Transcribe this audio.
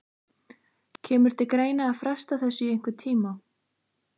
Kemur til greina að fresta þessu í einhvern tíma?